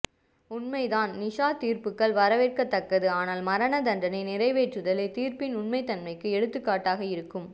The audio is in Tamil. உண்மைதான் நிஷா தீர்ப்புகள் வரவேற்கத் தக்கது ஆனால் மரண தண்டனை நிறைவேற்றுதலே தீர்ப்பின் உண்மைத் தன்மைக்கு எடுத்துக் காட்டாக இருக்கும்